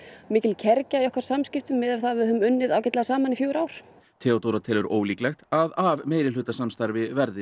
mikil kergja í okkar Samskipum miðað við að við höfum unnið ágætlega saman í fjögur ár Theodóra telur ólíklegt að af meirihlutasamstarfi verði